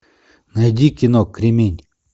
найди кино кремень